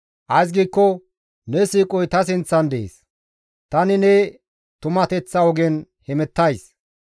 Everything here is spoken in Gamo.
Ays giikko ne siiqoy ta sinththan dees; tani ne tumateththa ogen hemettays.